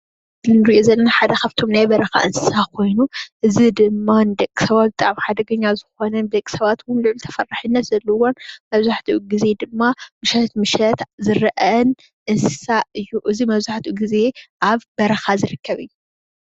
እቲ እንሪኦ ዘለና ሓደ ካፍቶም ናይ በረኻ እንስሳ ኾይኑ እዚ ድማ ንደቅሰባት ብጣዕሚ ሓደገኛ ዝኾነን ብደቅሰባት ድማ ሉዑል ተፈራሕነት ዘለዎን መብዛሕቲኡ ግዜ ድማ ምሸት ምሸት ዝርእን እንስሳ እዩ። እዚ መብዛሕቲኡ ግዜ ኣብ በረኻ ዝርከብ እዩ።